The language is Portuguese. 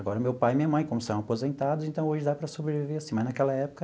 Agora meu pai e minha mãe, como são aposentados, então hoje dá para sobreviver assim, mas naquela época